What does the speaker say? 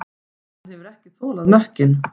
Hann hefur ekki þolað mökkinn.